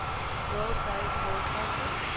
world baseball classic